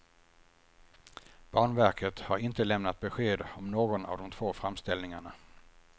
Banverket har inte lämnat besked om någon av de två framställningarna.